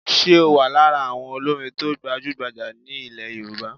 Ṣe o wà lára àwọn olórin to gbajugbajà ní ilẹ̀ Yorùbá?